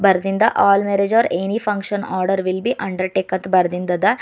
ಬರದಿಂದ all marriage or any function order will be undertake ಅಂತ ಬರದಿಂದ ಅದ.